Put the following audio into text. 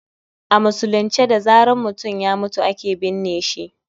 A musulunce da zaran mutum ya mutu ake binne shi